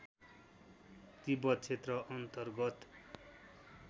तिब्बत क्षेत्र अन्तर्गत